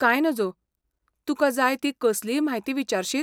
कांय नजो, तुका जाय ती कसलीय म्हायती विचारशीत?